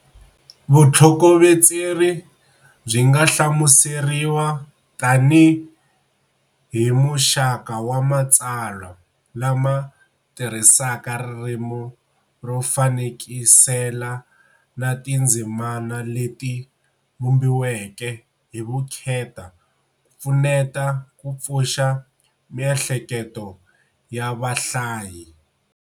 Vutlhokovetseri byi nga hlamuseriwa tanihi muxaka wa matsalwa lama tirhisaka ririmi ro fanekisela na tindzimana leti vumbiweke hi vukheta ku pfuneta ku pfuxa miehleketo ya vahlayi.